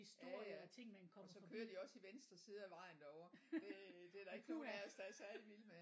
Ja ja og så kører de også i venstre side af vejen derovre det det er der ikke nogen af os der er særlig vilde med